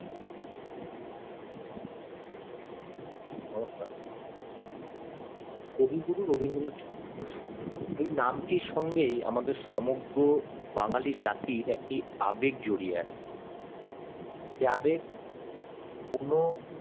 নমস্কার কবিগুরু রবীন্দ্রনাথ ঠাকুর এই নামটির সঙ্গেই আমাদের সমগ্র বাঙালি জাতির আবেগ জড়িয়ে আছে যাদের কোনো